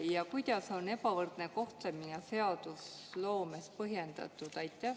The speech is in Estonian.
Ja kuidas on ebavõrdne kohtlemine seadusloomes põhjendatud?